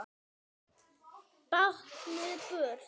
Báknið burt!